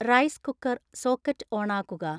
rice cooker socket ഓണാക്കുക